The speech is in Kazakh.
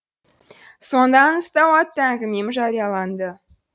сонда аңызтау атты әңгімем жарияланды